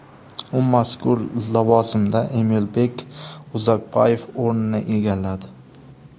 U mazkur lavozimda Emilbek Uzakbayev o‘rnini egalladi.